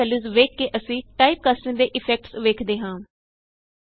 ਦੋਨੋ ਵੈਲਯੂਸ ਵੇਖ ਕੇ ਅਸੀਂ ਟਾਈਪਕਾਸਟਿੰਗ ਦੇ ਇਫੈਕਟਸ ਵੇਖਦੇ ਹਾਂ